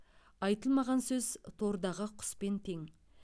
айтылмаған сөз тордағы құспен тең